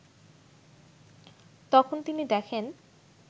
তখন তিনি দেখেন